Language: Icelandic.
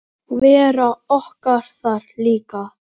Vera okkar þar líka.